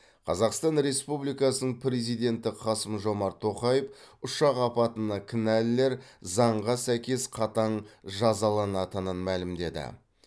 қазақстан республикасының президенті қасым жомарт тоқаев ұшақ апатына кінәлілер заңға сәйкес қатаң жазаланатынын мәлімдеді